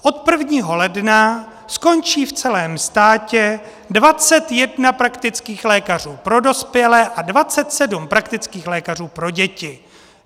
Od 1. ledna skončí v celém státě 21 praktických lékařů pro dospělé a 27 praktických lékařů pro děti.